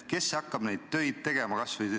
Kes hakkab neid töid tegema?